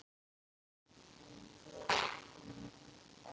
Þeim ferðum.